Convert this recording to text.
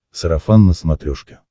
сарафан на смотрешке